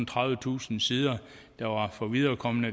tredive tusind sider der var for viderekomne